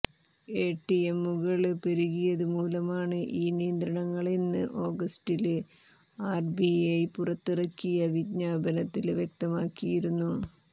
എടിഎമ്മുകള് പെരുകിയതു മൂലമാണ് ഈ നിയന്ത്രണങ്ങളെന്ന് ഓഗസ്റ്റില് ആര്ബിഐ പുറത്തിറക്കിയ വിജ്ഞാപനത്തില് വ്യക്തമാക്കിയിരുന്നു